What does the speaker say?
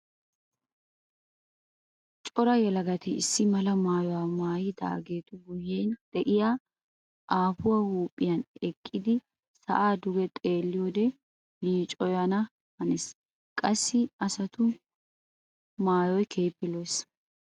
Cora yelagatti issi mala maayuwa maayagettu guyen de'iya aafuwa huuphiyan eqiddi sa'a duge xeelliyoode yiicoyanna hanees. Qassi asattu maayoy keehippe lo'ees.